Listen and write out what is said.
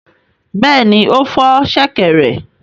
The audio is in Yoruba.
Bẹ́ẹ̀ni, ó fọ́ ṣẹ̀kẹ̀rẹ̀.